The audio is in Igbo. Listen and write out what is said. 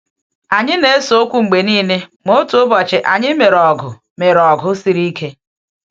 Anyị na-ese okwu mgbe niile, ma otu ụbọchị anyị mere ọgụ mere ọgụ siri ike.